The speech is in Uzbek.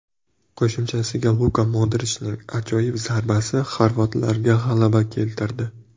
Qo‘shimchasiga Luka Modrichning ajoyib zarbasi xorvatlarga g‘alaba keltirdi.